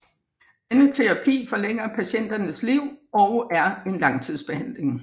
Denne terapi forlænger patienternes liv og er en langtidsbehandling